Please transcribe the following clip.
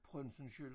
Printzensköld